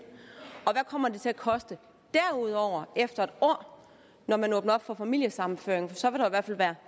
kommer det til at koste derudover efter et år når man åbner op for familiesammenføring for så vil der i hvert